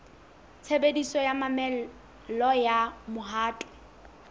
tshebediso ya mamello ya mohato